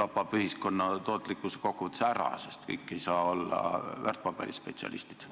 tapab see ühiskonna tootlikkuse kokkuvõttes ära, sest kõik ei saa olla väärtpaberispetsialistid.